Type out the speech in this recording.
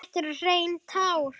Þetta eru hrein tár.